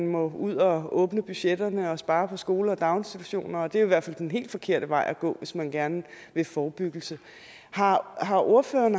må ud og åbne budgetterne og spare på skoler og daginstitutioner det er i hvert fald den helt forkerte vej at gå hvis man gerne vil forebyggelse har har ordføreren